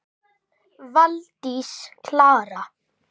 Valdís Klara.